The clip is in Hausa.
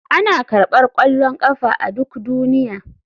Ana karɓar ƙwallon ƙafa a duk duniya.